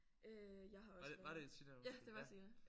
Øh jeg har også været ja det var Tina